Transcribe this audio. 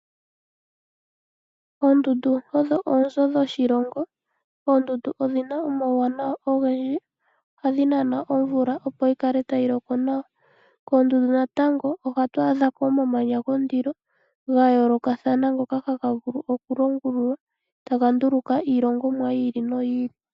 Oondundu odho oonzo dhoshilongo. Oondundu odhina omawuwanawa ogendji. Ohadhi nana omvula opo yikale tayi loko nawa. Koondundu natango ohatu adhako omamanya gondilo gayoolokathana ngoka hagamvulu okulongululwa, taga nduluka iilongomwa yi ili noyi ili.